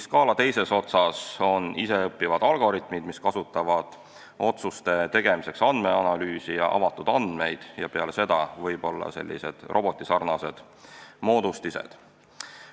Skaala teises otsas on iseõppivad algoritmid, mis kasutavad otsuste tegemiseks andmeanalüüsi ja avatud andmeid, ning peale seda võib-olla sellised robotisarnased moodustised.